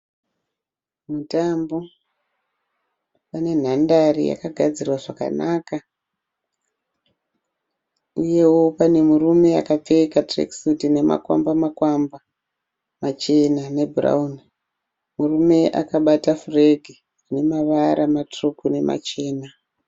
Mutambo, pane nhandare yakagadzirwa zvakanaka uyewo pane murume akapfeka tirekisutu ine makwamba makwamba machena nebhurauni. Murume akabata furegi ine mavara matsvuku nemachena.